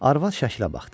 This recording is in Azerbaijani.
Arvad şəklə baxdı.